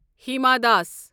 Hima Das